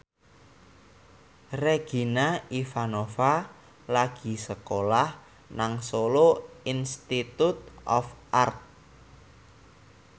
Regina Ivanova lagi sekolah nang Solo Institute of Art